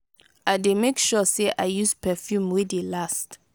i dey make sure sey i use perfume wey dey last.